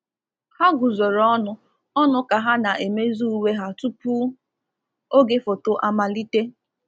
Ha guzoro ọnụ ọnụ ka ha na-emezi uwe ha tupu oge foto amalite.